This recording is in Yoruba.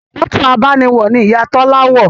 Mọ́tò abániwọ̀ ni Ìyá Tọ́lá wọ̀